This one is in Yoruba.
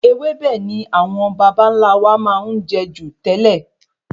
Ewébẹ̀ ni awon babanla wà máa n je ju tẹ́lẹ̀